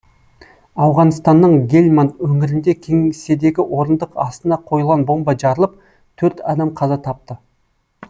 ауғанстанның гельманд өңірінде кеңседегі орындық астына қойылған бомба жарылып төрт адам қаза тапты